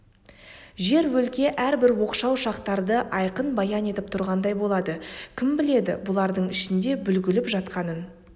жер өлке әрбір оқшау шақтарды айқын баян етіп тұрғандай болады кім біледі бұлардың ішінде бүгіліп жатқан